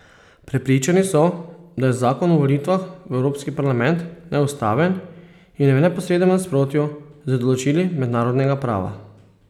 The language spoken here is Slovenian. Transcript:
Prepričani so, da je zakon o volitvah v evropski parlament neustaven in v neposrednem nasprotju z določili mednarodnega prava.